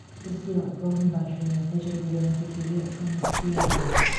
бізде ғылым бар және тәжірибелі нәтижеге жұмыс істей алады